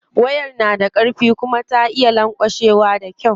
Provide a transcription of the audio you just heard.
Wayar na da karfi kuma ta iya lanƙwashewa da kyau.